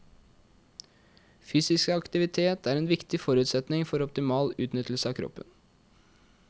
Fysisk aktivitet er en viktig forutsetning for optimal utnyttelse av kroppen.